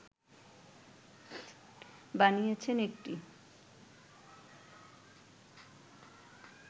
বানিয়েছেন একটি